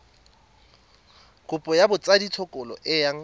kopo ya botsadikatsholo e yang